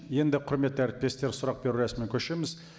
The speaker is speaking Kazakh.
енді құрметті әріптестер сұрақ беру рәсіміне көшеміз